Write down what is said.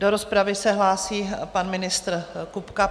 Do rozpravy se hlásí pan ministr Kupka.